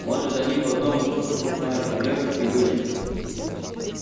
может они потом к сухаревке вышли